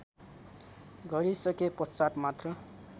गरिसके पश्चात् मात्र